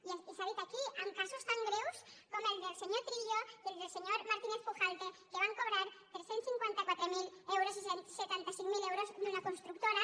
i s’ha dit aquí amb casos tan greus com el del senyor trillo i el del senyor martínez pujalte que van cobrar tres cents i cinquanta quatre mil euros i setanta cinc mil euros d’una constructora